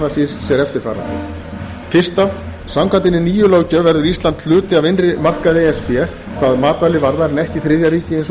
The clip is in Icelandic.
meðal annars í sér eftirfarandi fyrsta samkvæmt hinni nýju löggjöf verði ísland hluti af innri markaði e s b hvað matvæli varðar en ekki þriðja ríki eins